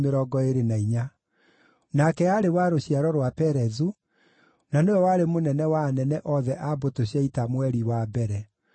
Nake aarĩ wa rũciaro rwa Perezu, na nĩwe warĩ mũnene wa anene othe a mbũtũ cia ita mweri wa mbere.